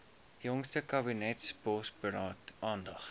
jongste kabinetsbosberaad aandag